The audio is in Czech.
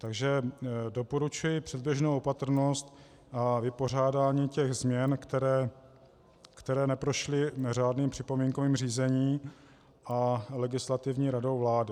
Takže doporučuji předběžnou opatrnost a vypořádání těch změn, které neprošly řádným připomínkovým řízením a Legislativní radou vlády.